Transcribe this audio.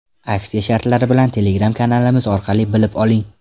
Aksiya shartlari bilan Telegram kanalimiz orqali bilib oling!